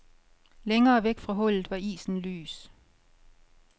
Længere væk fra hullet var isen lys.